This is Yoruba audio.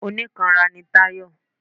Onikanra ni Tayọ.